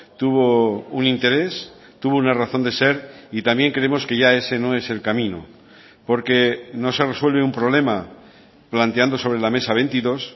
tuvo un interés tuvo una razón de ser y también creemos que ya ese no es el camino porque no se resuelve un problema planteando sobre la mesa veintidós